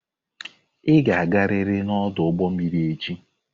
Ị ga-agarịrị n'ọdụ ụgbọ mmiri echi!